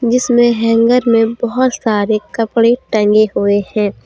जिसमे हैंगर में बहुत सारे कपड़े टंगे हुए हैं।